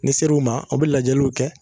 Ni seru ma, aw bɛ lajɛliw kɛ.